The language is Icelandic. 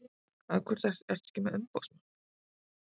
Af hverju ertu ekki með umboðsmann?